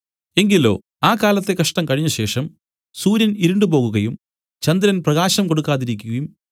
എങ്കിലോ ആ കാലത്തെ കഷ്ടം കഴിഞ്ഞശേഷം സൂര്യൻ ഇരുണ്ടുപോകുകയും ചന്ദ്രൻ പ്രകാശം കൊടുക്കാതിരിക്കുകയും